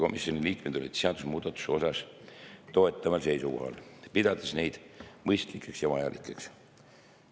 Komisjoni liikmed olid seadusemuudatuste osas toetaval seisukohal, pidades neid mõistlikeks ja vajalikeks.